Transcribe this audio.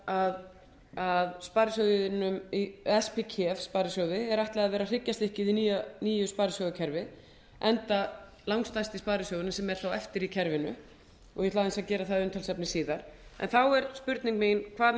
saman að á kef sparisjóði er ætlað að vera hryggjarstykkið í nýju sparisjóðakerfi enga langstærsti sparisjóðurinn sem er eftir í kerfinu og ég ætla aðeins að gera það að umtalsefni síðar en þá er spurning mín hvað